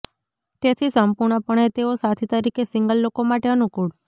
તેથી સંપૂર્ણપણે તેઓ સાથી તરીકે સિંગલ લોકો માટે અનુકૂળ